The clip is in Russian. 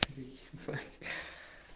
факс